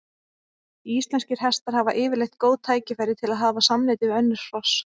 Íslenskir hestar hafa yfirleitt góð tækifæri til að hafa samneyti við önnur hross.